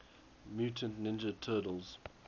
mutant ninja turtles